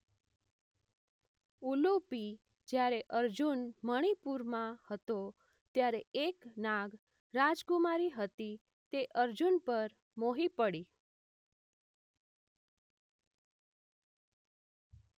ઉલુપિ જ્યારે અર્જુન મણીપુરમાં હતો ત્યારે એક નાગ રાજકુમારી હતી તે અર્જુન પર મોહી પડી